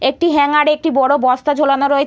একটি হাঙ্গার -এ একটি বড়ো বস্তা ঝোলানো রয়ে--